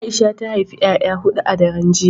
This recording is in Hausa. Aisha ta haifi 'ya'ya hudu a daren jiya